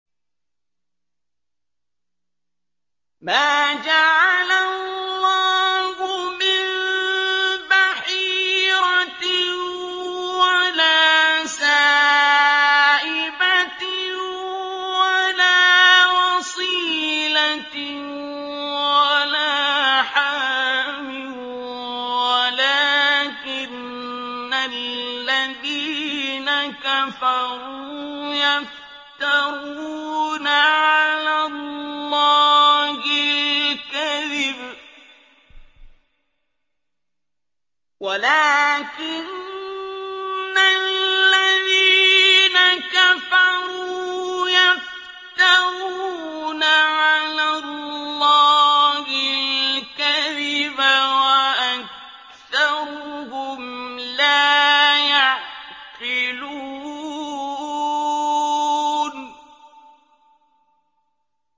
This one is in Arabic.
مَا جَعَلَ اللَّهُ مِن بَحِيرَةٍ وَلَا سَائِبَةٍ وَلَا وَصِيلَةٍ وَلَا حَامٍ ۙ وَلَٰكِنَّ الَّذِينَ كَفَرُوا يَفْتَرُونَ عَلَى اللَّهِ الْكَذِبَ ۖ وَأَكْثَرُهُمْ لَا يَعْقِلُونَ